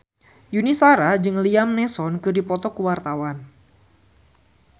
Yuni Shara jeung Liam Neeson keur dipoto ku wartawan